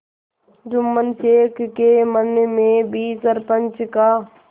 जुम्मन शेख के मन में भी सरपंच का